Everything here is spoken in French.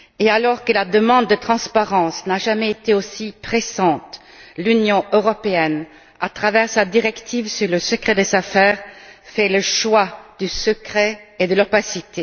Alors que la demande de transparence n'a jamais été aussi pressante, l'Union européenne, à travers sa directive sur le secret des affaires, fait le choix du secret et de l'opacité.